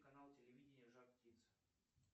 канал телевидения жар птица